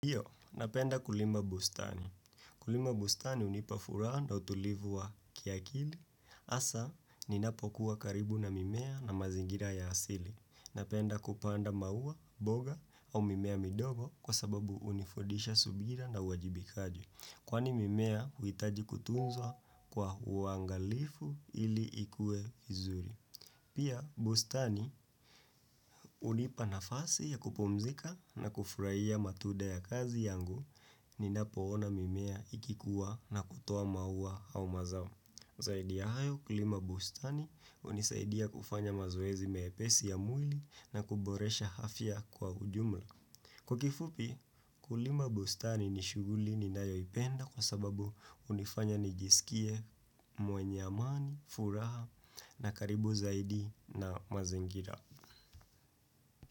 Iyo, napenda kulima bustani. Kulima bustani hunipa furaha na utulivu wa kiakili. Hasa, ninapokuwa karibu na mimea na mazingira ya asili. Napenda kupanda maua, mboga, au mimea midogo kwa sababu hunifudisha subira na uwajibikaji. Kwani mimea huhitaji kutunzwa kwa uangalifu ili ikue vizuri. Pia bustani hunipa nafasi ya kupumzika na kufurahia matunda ya kazi yangu ninapoona mimea ikikuwa na kutuoa maua au mazao. Zaidi ya hayo kulima bustani hunisaidia kufanya mazoezi mepesi ya mwili na kuboresha afya kwa ujumla. Kwa kifupi, kulima bustani ni shughuli ninayoipenda kwa sababu hunifanya nijisikie mwenye amani, furaha na karibu zaidi na mazingira.